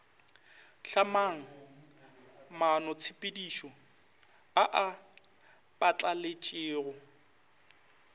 hlamang maanotshepedišo a a phatlaletšego